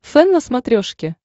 фэн на смотрешке